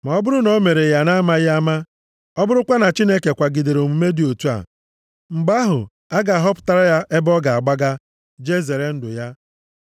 Ma ọ bụrụ na o mere ya na-amaghị ama, ọ bụrụkwa na Chineke kwagidere omume dị otu a, mgbe ahụ, a ga-ahọpụtara ya ebe ọ ga-agbaga, jee zere ndụ.